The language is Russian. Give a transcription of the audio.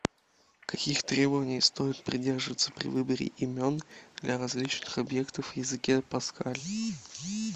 каких требований стоит придерживаться при выборе имен для различных объектов в языке паскаль